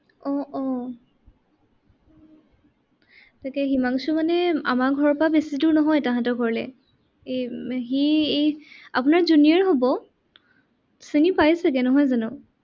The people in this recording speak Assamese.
আহ আহ তাকে হিমাংশু মানে আমাৰ ঘৰৰ পৰা বেছি দূৰ নহয় তাহাঁতৰ ঘৰলে। এৰ সি আপোনাৰ junior হ'ব চিনি পাই চাগে নহয় জানো?